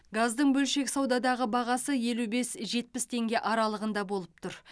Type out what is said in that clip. газдың бөлшек саудадағы бағасы елу бес жетпіс теңге аралығында болып тұр